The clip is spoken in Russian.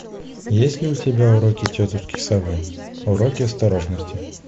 есть ли у тебя уроки тетушки совы уроки осторожности